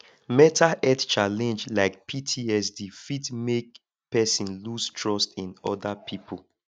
mental health challenge like ptsd fit make person loose trust in oda pipo